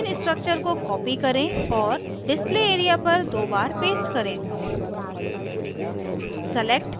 ethane structure को copy करें और display area पर दो बार paste करें